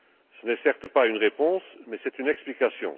Ce n'est certes pas une réponse, mais c'est une explication.